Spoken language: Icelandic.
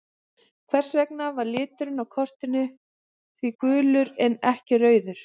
Hvers vegna var liturinn á kortinu því gulur en ekki rauður?